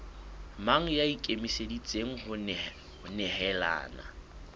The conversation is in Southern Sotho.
mang ya ikemiseditseng ho nehelana